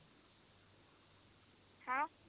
ਹਾਂ